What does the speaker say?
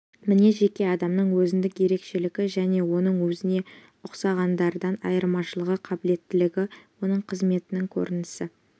мінез жеке адамның өзіндік ерекшелігі және оның өзіне ұқсағандардан айырмашылығы қабілеттілігі оның қызметінің көрінісі